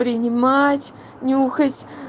принимать нюхать